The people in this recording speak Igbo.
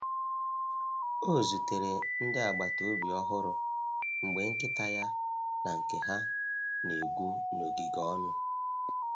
Ọ zutere ndị agbata obi ọhụrụ mgbe nkịta ya na nke ha na-egwu n’ogige ọnụ.